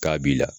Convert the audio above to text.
K'a b'i la